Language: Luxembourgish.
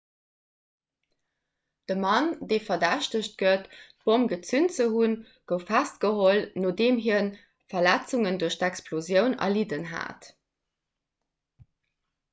de mann dee verdächtegt gëtt d'bomm gezünt ze hunn gouf festgeholl nodeem hie verletzungen duerch d'explosioun erlidden hat